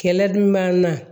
Kɛlɛ dun b'an na